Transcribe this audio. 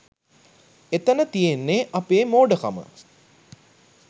එතන තියෙන්නේ අපේ මෝඩකම